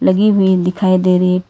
लगी हुई दिखाई दे रही--